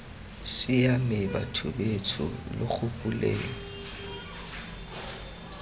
siame batho betsho lo gopoleng